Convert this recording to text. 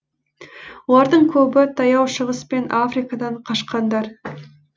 олардың көбі таяу шығыс пен африкадан қашқандар